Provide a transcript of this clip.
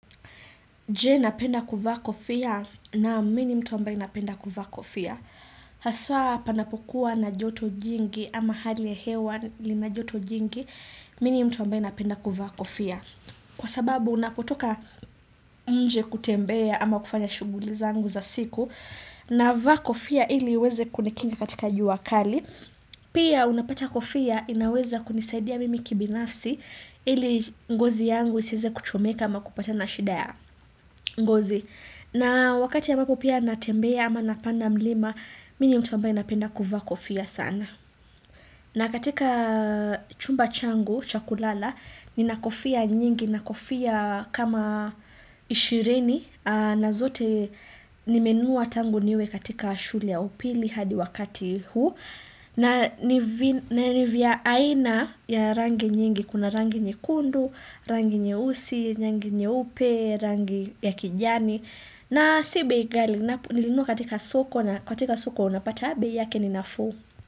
Je napenda kuvaa kofia? Nam mi ni mtu ambaye napenda kuvaa kofia. Haswa panapokuwa na joto jingi ama hali ya hewa lina joto jingi, mi ni mtu ambaye napenda kuvaa kofia. Kwa sababu unapotoka nje kutembea ama kufanya shughuli zangu za siku, navaa kofia ili iweze kunikinga katika jua kali. Pia unapata kofia inaweza kunisaidia mimi kibinafsi ili ngozi yangu isiweze kuchomeka ama kupatana na shida ya. Ngozi. Na wakati ambapo pia natembea ama napanda mlima, mi ni mtu ambaye napenda kuvaa kofia sana. Na katika chumba changu, cha kulala, nina kofia nyingi, nina kofia kama ishirini, na zote nimenunua tangu niwe katika shule ya upili hadi wakati huu. Na ni vya aina ya rangi nyingi, kuna rangi nyekundu, rangi nyeusi, rangi nyeupe, rangi ya kijani. Na si bei ghali, nilinua katika soko, na katika soko unapata bei yake ni nafuu.